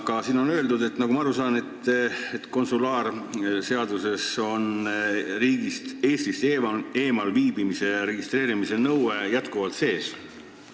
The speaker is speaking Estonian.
Aga siin on öeldud, nagu ma aru saan, et konsulaarseaduses on Eestist eemal viibimise registreerimise nõue jätkuvalt sees.